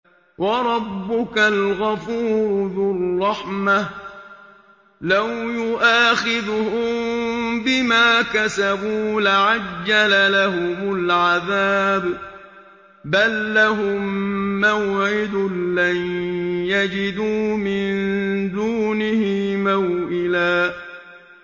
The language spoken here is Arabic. وَرَبُّكَ الْغَفُورُ ذُو الرَّحْمَةِ ۖ لَوْ يُؤَاخِذُهُم بِمَا كَسَبُوا لَعَجَّلَ لَهُمُ الْعَذَابَ ۚ بَل لَّهُم مَّوْعِدٌ لَّن يَجِدُوا مِن دُونِهِ مَوْئِلًا